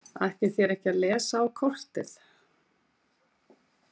Ætlið þér ekki að lesa á kortið?